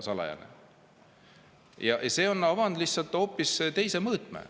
E-valimine on avanud lihtsalt hoopis teise mõõtme.